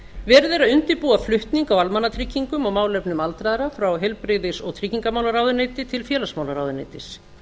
verið er að undirbúa flutning á almannatryggingum og málefnum aldraðra frá heilbrigðis og tryggingamálaráðuneyti til félagsmálaráðuneytis